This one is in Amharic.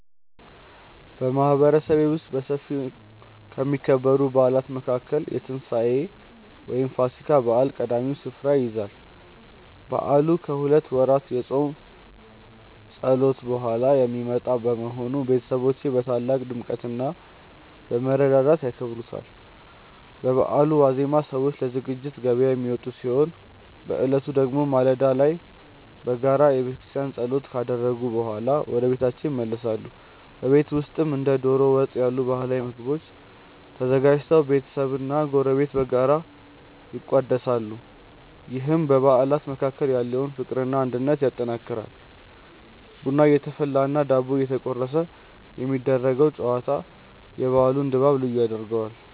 በማህበረሰቤ ውስጥ በሰፊው ከሚከበሩ በዓላት መካከል የትንሳኤ (ፋሲካ) በዓል ቀዳሚውን ስፍራ ይይዛል። በዓሉ ከሁለት ወራት የጾም ጸሎት በኋላ የሚመጣ በመሆኑ፣ ቤተሰቦች በታላቅ ድምቀትና በመረዳዳት ያከብሩታል። በበዓሉ ዋዜማ ሰዎች ለዝግጅት ገበያ የሚወጡ ሲሆን፣ በዕለቱ ደግሞ ማለዳ ላይ በጋራ በቤተክርስቲያን ጸሎት ካደረጉ በኋላ ወደየቤታቸው ይመለሳሉ። በቤት ውስጥም እንደ ዶሮ ወጥ ያሉ ባህላዊ ምግቦች ተዘጋጅተው ቤተሰብና ጎረቤት በጋራ ይቋደሳሉ፤ ይህም በአባላት መካከል ያለውን ፍቅርና አንድነት ያጠናክራል። ቡና እየተፈላና ዳቦ እየተቆረሰ የሚደረገው ጨዋታ የበዓሉን ድባብ ልዩ ያደርገዋል።